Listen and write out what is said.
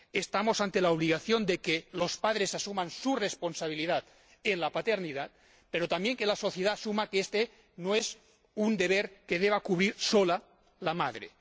Estamos ante la obligación de que los padres asuman su responsabilidad en la paternidad, pero también de que la sociedad asuma que este no es un deber que deba cumplir sola la madre.